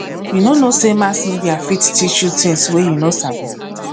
you no know sey mass media fit teach you tins wey you no sabi